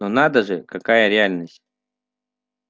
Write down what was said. но надо же какая реальность